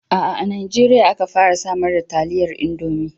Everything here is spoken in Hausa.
A'a,a Najeriya aka fara samar da taliyar Indomi.